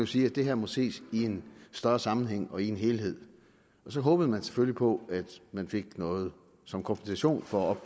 sige at det her må ses i en større sammenhæng og i en helhed og så håbede man selvfølgelig på at man fik noget som kompensation for